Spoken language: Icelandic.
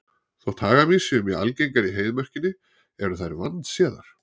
Þótt hagamýs séu mjög algengar í Heiðmörkinni eru þær vandséðar.